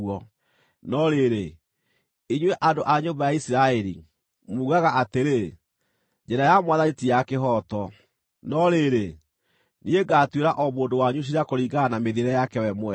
No rĩrĩ, inyuĩ andũ a nyũmba ya Isiraeli, mugaga atĩrĩ, ‘Njĩra ya Mwathani ti ya kĩhooto.’ No rĩrĩ, niĩ ngaatuĩra o mũndũ wanyu ciira kũringana na mĩthiĩre yake we mwene.”